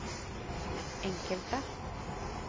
enkelte